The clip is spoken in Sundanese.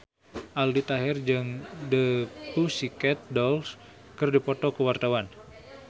Aldi Taher jeung The Pussycat Dolls keur dipoto ku wartawan